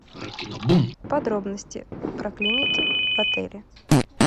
подробности про клиники в отеле